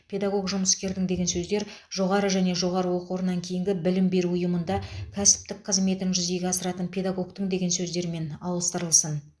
педагог жұмыскердің деген сөздер жоғары және жоғары оқу орнынан кейінгі білім беру ұйымында кәсіптік қызметін жүзеге асыратын педагогтің деген сөздермен ауыстырылсын